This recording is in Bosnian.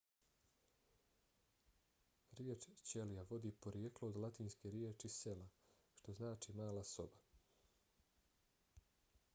riječ ćelija vodi porijeklo od latinske riječi cella što znači mala soba